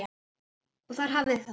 Og þar hafið þið það!